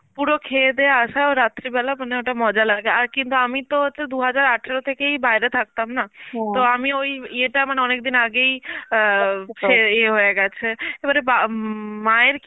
পুরো খেয়ে দে আশা রাত্রি বেলা মানে ওইটা মজা লাগে, আর কিন্তু আমি তো হচ্ছে দু হাজার আঠারো থেকেই বাইরে থাকতাম না তো আমি ওই ইয়েটা মানে অনেকদিন আগে অ্যাঁ ছে~ ইয়ে হয়ে গেছে, এবারে বা~ উম মায়ের